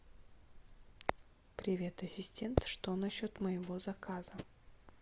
привет ассистент что насчет моего заказа